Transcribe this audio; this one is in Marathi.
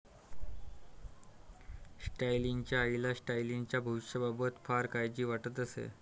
स्टॅलिनच्या आईला स्टॅलिनच्या भविष्याबाबत फार काळजी वाटत असे.